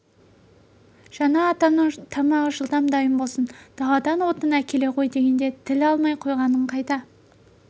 жаңа атамның тамағы жылдам дайын болсын даладан отын әкеле ғой дегенде тіл алмай қойғаның қайда